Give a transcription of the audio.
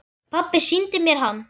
Pabbi sýndi mér hann.